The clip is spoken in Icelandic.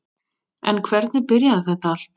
En hvernig byrjaði þetta allt?